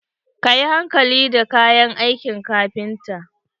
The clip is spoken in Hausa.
Kayi hankali da kayan aikin kafinta.